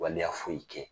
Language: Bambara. Waleya foyi kɛ